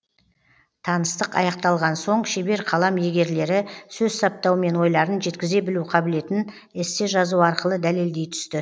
таныстық аяқталған соң шебер қалам иегерлері сөз саптау мен ойларын жеткізе білу қабілетін эссе жазу арқылы дәлелдей түсті